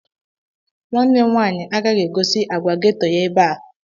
Nwanne m nwaanyị agaghị egosi agwa geto ya ebe a.